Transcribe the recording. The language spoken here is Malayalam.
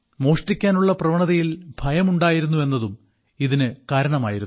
മോഷ്ടിക്കാനുള്ള പ്രവണതയിൽ ഭയം ഉണ്ടായിരുന്നു എന്നതും ഇതിന് കാരണമായിരുന്നു